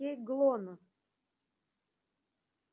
окей глонассс